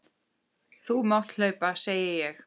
Þú mátt hlaupa, segi ég.